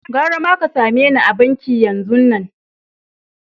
Garama ka same ni a'banki yanzun nan!